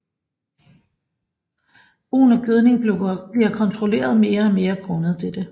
Brugen af gødning bliver kontrolleret mere og mere grundet dette